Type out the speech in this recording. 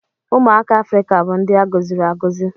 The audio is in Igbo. Ụmụaka Afrịka bụ ndị a gọziri agọzi.